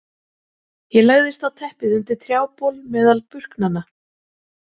Ég lagðist á teppið undir trjábol meðal burknanna.